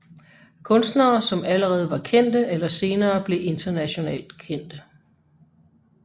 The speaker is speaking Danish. Kunstnere som allerede var kendte eller senere blev internationalt kendte